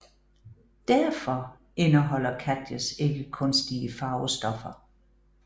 Derfor indeholder Katjes ikke kunstige farvestoffer